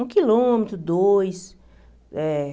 Um quilômetro, dois eh.